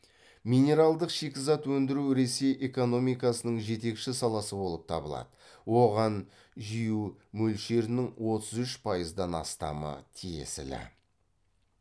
минералдық шикізат өндіру ресей экономикасының жетекші саласы болып табылады оған жю мөлшерінің отыз үш пайыздан астамы тиесілі